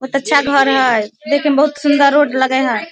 बहुत अच्छा घर हेय देखे मे बहुत सुंदर रोड लगय हेय।